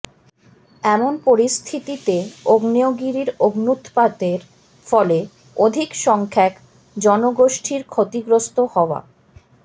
এমন পরিস্থিতি তে আগ্নেয়গিরির অগ্ন্যুৎপাতের ফলে অধিক সংখ্যক জনগোষ্ঠীর ক্ষতিগ্রস্ত হওয়া